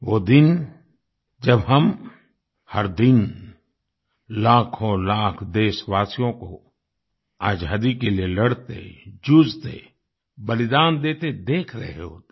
वो दिन जब हम हर दिन लाखोंलाख देशवासियों को आज़ादी के लिए लड़ते जूझते बलिदान देते देख रहे होते